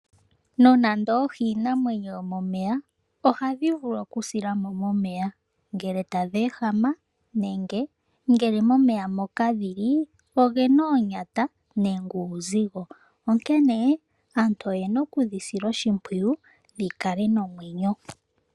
Nonando oohi iinamwenyo yomomeya ohadhi vulu okusilamo momeya ngele tadheehama nenge ngele momeya mokadhili ogena oonyata nenge uuzigo, onkene aantu oyena okudhi sila oshimpwiyu dhikale nomwenyo.